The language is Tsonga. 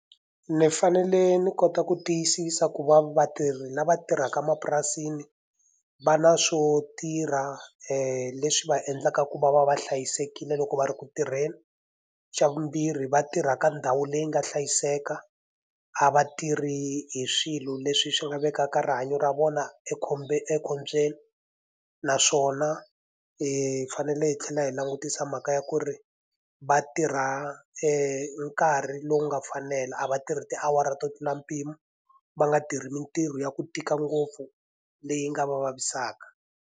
Ni fanele ni kota ku tiyisisa ku va vatirhi lava tirhaka emapurasini, va na swo tirha leswi va endlaka ku va va va hlayisekile loko va ri ku tirheni. Xa vumbirhi va tirhaka ndhawu leyi nga hlayiseka, a va tirhi hi swilo leswi swi nga vekaka rihanyo ra vona ekhombyeni. Naswona hi fanele tlhela hi langutisa mhaka ya ku ri va tirha nkarhi lowu nga fanela, a va tirhi tiawara to tlula mpimo va nga tirhi mintirho ya ku tika ngopfu leyi nga va vavisaka.